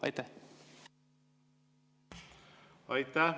Aitäh!